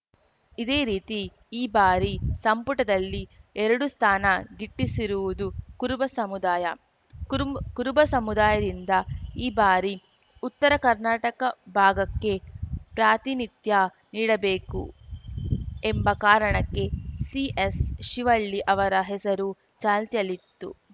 ಇದೇ ರೀತಿ ಈ ಬಾರಿ ಸಂಪುಟದಲ್ಲಿ ಎರಡು ಸ್ಥಾನ ಗಿಟ್ಟಿಸಿರುವುದು ಕುರುಬ ಸಮುದಾಯ ಕುರುಮ್ಬ್ ಕುರುಬ ಸಮುದಾಯದಿಂದ ಈ ಬಾರಿ ಉತ್ತರ ಕರ್ನಾಟಕ ಭಾಗಕ್ಕೆ ಪ್ರಾತಿನಿತ್ಯ ನೀಡಬೇಕು ಎಂಬ ಕಾರಣಕ್ಕೆ ಸಿಎಸ್‌ ಶಿವಳ್ಳಿ ಅವರ ಹೆಸರು ಚಾಲ್ತಿಯಲ್ಲಿತ್ತು